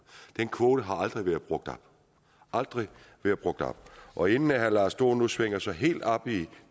den kvote har aldrig aldrig været brugt op og inden herre lars dohn nu svinger sig helt op i